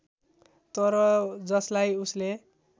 तर जसलाई उसले